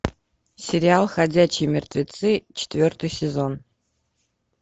сериал ходячие мертвецы четвертый сезон